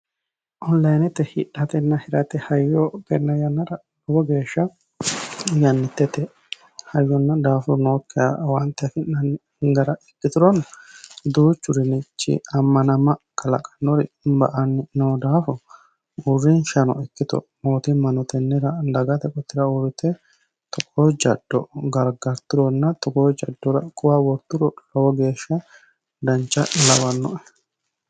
Onlinete hidhana hirate hayyo tenne yannara dancha nafu ikkituro lowo woxi ba"anni noo daafo mangisteno tennera hedo worturo dancha lawannoe.